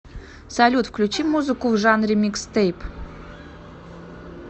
салют включи музыку в жанре микстейп